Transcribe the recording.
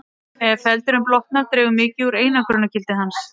Ef feldurinn blotnar dregur mikið úr einangrunargildi hans.